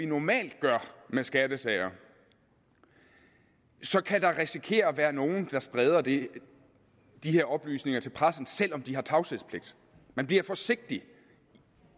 normalt gør med skattesager så kan der risikere at være nogle der spreder de her oplysninger til pressen selv om de har tavshedspligt man bliver forsigtig